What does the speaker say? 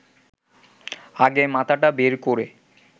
আগে মাথাটা বের করে